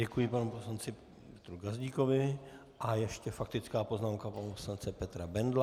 Děkuji panu poslanci Petru Gazdíkovi a ještě faktická poznámka pana poslance Petra Bendla.